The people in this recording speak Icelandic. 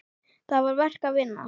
Það var verk að vinna.